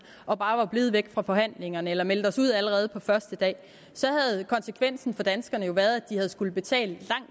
og bare var blevet væk fra forhandlingerne eller havde meldt os ud allerede på den første dag så havde konsekvensen for danskerne jo været at de havde skullet betale